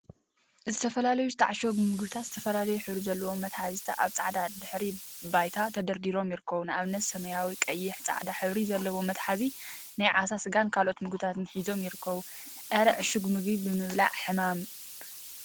ዝተፈላለዩ ዝተዓሸጉ ምግቢታት ዝተፈላለየ ሕብሪ ዘለዎም መትሓዚታ አብ ፃዕዳ ድሕረ ባይታ ተደርዲሮም ይርከቡ፡፡ ንአብነት ሰማያዊ፣ ቀይሕን ፃዕዳን ሕብሪ ዘለዎም መትሓዚ ናይ ዓሳ ስጋን ካልኦት ምግቢታትን ሒዞም ይርከቡ፡፡ አረ! ዕሹግ ምግቢ ምብላዕ ሕማም እዩ፡፡